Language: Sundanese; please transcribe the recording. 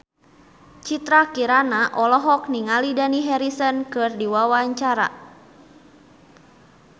Citra Kirana olohok ningali Dani Harrison keur diwawancara